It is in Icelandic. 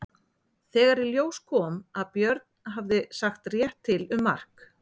Þegar í ljós kom að Björn hafði sagt rétt til um mark